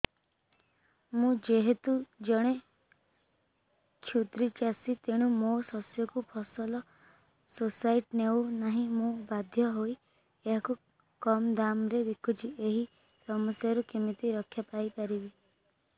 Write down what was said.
ମୁଁ ଯେହେତୁ ଜଣେ କ୍ଷୁଦ୍ର ଚାଷୀ ତେଣୁ ମୋ ଶସ୍ୟକୁ ଫସଲ ସୋସାଇଟି ନେଉ ନାହିଁ ମୁ ବାଧ୍ୟ ହୋଇ ଏହାକୁ କମ୍ ଦାମ୍ ରେ ବିକୁଛି ଏହି ସମସ୍ୟାରୁ କେମିତି ରକ୍ଷାପାଇ ପାରିବି